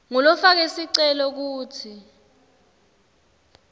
ngulofake sicelo kutsi